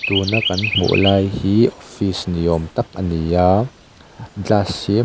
tuna kan hmuh lai hi office niawm tak a ni a glass hi--